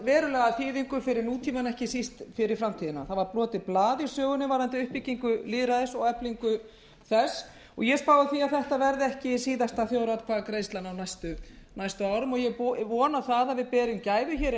verulega þýðingu fyrir nútímann en ekki síst fyrir framtíðina það var brotið blað í sögunni varðandi uppbyggingu lýðræðis og eflingu þess og ég spái því að þetta verði ekki síðasta þjóðaratkvæðagreiðslan á næstu árum og ég vona það að við hér inni berum gæfu